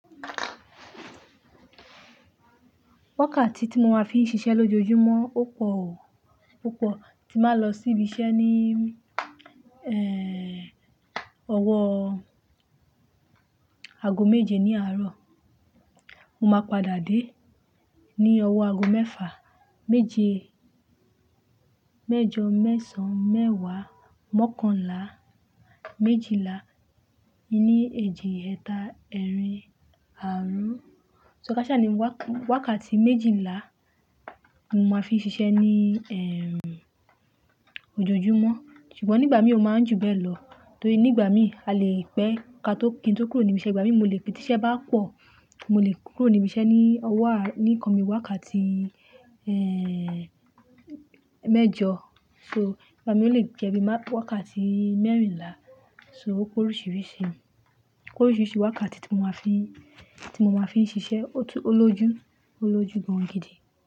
Wákàtí tí mo máa fi ń ṣiṣẹ́ lójoojúmọ́ ó pọ̀ oò, ó pọ̀. Ti máa ń lọ sí ibiṣẹ́ ní, ẹ́, ọwọ́ ago méje ní àárọ̀. Mo máa padà dé ní ọwọ́ ago mẹ́fà. Méje, mẹ́jọ, mẹ́sàn, mẹ́wàá, mọ́kànlá, méjìlá, ìní, èjì, ẹta, ẹ́rìn, àárún. So káṣa ni wákàtí méjìlá mo máa fi ń ṣiṣẹ́ ní, ẹ́, ojoojúmọ́. Ṣùgbọ́n nígbà mi ò máa ń jù bẹ́ẹ̀ lọ torí nígbà mi, a lè pẹ́ ka tó kí n tó kúrò níbi iṣẹ́. Igba mi mo lè pẹ́ tí iṣẹ́ bá pọ̀, mo lè kúrò ní ibi iṣẹ́ ní ọwọ́ a- ní nǹkan bi wákàtí, ẹ́, mẹ́jọ. So, ìgbà mi ó lè jẹ́ bí i wákàtí mẹ́rìnlá. So ó porisirisi, ó kórìṣìrìṣi wákàtí tí mo máa fi ń, tí mo máa fi ń ṣiṣẹ́, ojú, olójú, oloju gan gidi.